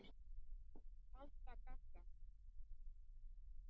Tanta Gagga.